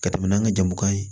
Ka tɛmɛ n'an ka jamu kan ye